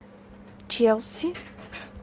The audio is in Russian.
челси